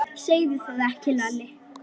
Og hýdd.